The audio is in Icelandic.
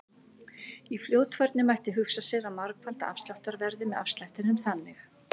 Í fljótfærni mætti hugsa sér að margfalda afsláttarverðið með afslættinum þannig: